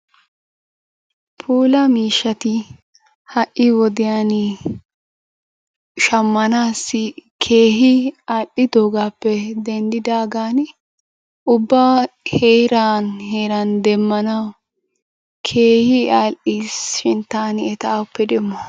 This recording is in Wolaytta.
Puula miishshati ha'i wodiyaan shammanaassi keehi alli'idoohappe denddidaagan ubba heeraan heeran demmanawu keehi all"iis shin taani eta awuppe demmo?